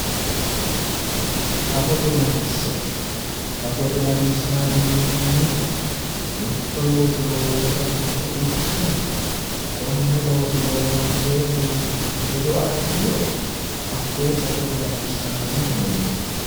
safote latishsha safote latishshaati yineemmohu mitto looso loosate mixo fushshine konne looso loonseemmo yine hedo assiniro hakkoye safote latishshaati yineemmo.